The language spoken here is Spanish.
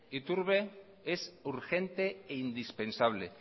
iturbe es urgente e indispensable